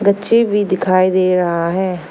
बच्चे भी दिखाई दे रहा है।